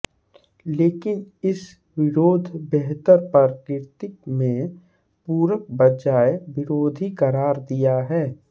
लेकिन इस विरोध बेहतर प्रकृति में पूरक बजाय विरोधी करार दिया है